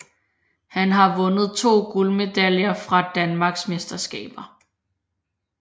Han har vundet to guldmedaljer fra danmarksmesterskaber